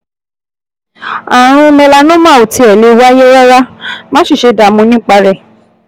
Ààrùn melanoma ò tiẹ̀ lè wáyé rárá, má sì ṣe dààmú nípa rẹ̀